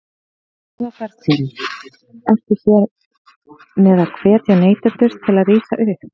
Eva Bergþóra: Ertu hér með að hvetja neytendur til að rísa upp?